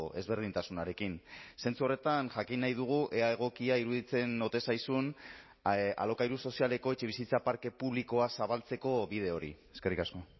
ezberdintasunarekin zentzu horretan jakin nahi dugu ea egokia iruditzen ote zaizun alokairu sozialeko etxebizitza parke publikoa zabaltzeko bide hori eskerrik asko